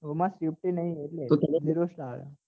તેમાં safety નહિ એટલે